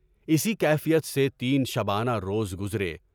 اسی کیفیت سے تین شبانہ روز گزرے۔